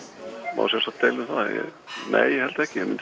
má sjálfsagt deila um það nei ég held ekki ég